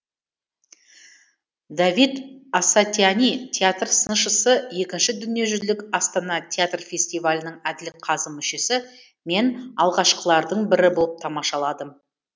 давид асатиани театр сыншысы екінші дүниежүзілік астана театр фестивалінің әділ қазы мүшесі мен алғашқылардың бірі болып тамашаладым